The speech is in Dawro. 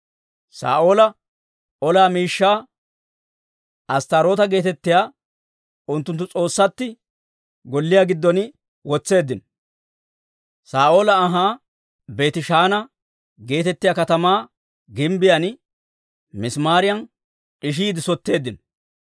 Saa'oola ola miishshaa Asttaaroota geetettiyaa unttunttu s'oossatti golliyaa giddon wotseeddino; Saa'oola anhaa Beetishaana geetettiyaa katamaa gimbbiyaan misimaariyan d'ishiide sotteeddino.